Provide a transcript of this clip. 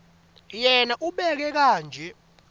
yena ubeka kanje